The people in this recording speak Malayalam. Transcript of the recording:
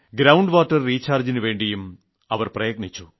ഗ്രൌണ്ട് വാട്ടർ റീചാർജ്ജിനുവേണ്ടിയും പ്രയത്നിച്ചു